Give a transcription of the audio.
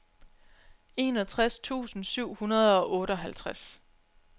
enogtres tusind syv hundrede og otteoghalvtreds